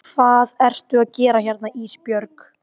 Hvað ertu að gera hérna Ísbjörg?